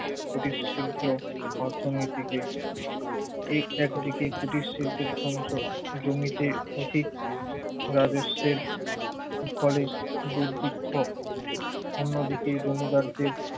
কুটিরশিল্প অর্থনীতিকে। এই একদিকে কুটিরশিল্পের ধ্বংস, জমিতে অধিক রাজস্বের ফলে দুর্ভিক্ষ, অন্যদিকে জমিদারদের